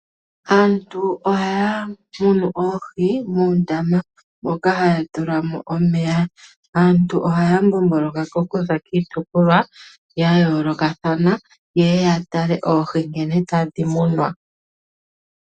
Aantu ohayamunu oohi muundama moka hayatula mo omeya, aantu ohaya zi komahala nomahala gayoolokathana tayeya okutala nkene oohi hadhi munwa.